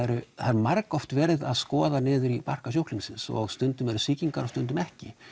margoft verið að skoða niður í barka sjúklingsins og stundum eru sýkingar og stundum ekki